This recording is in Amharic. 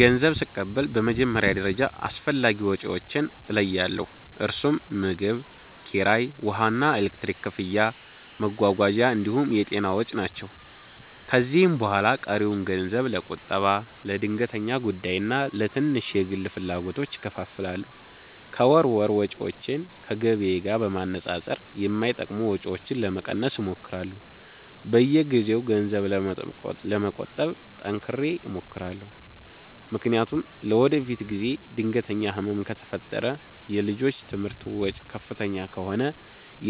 ገንዘብ ስቀበል በመጀመሪያ ደረጃ አስፈላጊ ወጪዎቼን እለያለሁ፤ እነርሱም ምግብ፣ ኪራይ፣ ውሃና ኤሌክትሪክ ክፍያ፣ መጓጓዣ እንዲሁም የጤና ወጪ ናቸው። ከዚያ በኋላ ቀሪውን ገንዘብ ለቁጠባ፣ ለድንገተኛ ጉዳይና ለትንሽ የግል ፍላጎቶች እከፋፍላለሁ። ከወር ወር ወጪዎቼን ከገቢዬ ጋር በማነጻጸር የማይጠቅሙ ወጪዎችን ለመቀነስ እሞክራለሁ። በየጊዜው ገንዘብ ለመቆጠብ ጠንክሬ እሞክራለሁ፤ ምክንያቱም ለወደፊት ጊዜ ድንገተኛ ህመም ከፈጠረ፣ የልጆች ትምህርት ወጪ ከፍተኛ ከሆነ፣